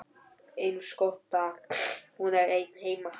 Eins gott að hún er ein heima.